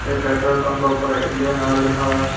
ये petrol pump के ऊपर इंडियन ऑयल लिखा हुआ है।